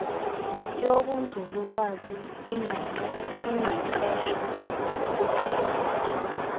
yobunzululwazi ingqeqesho uqheliso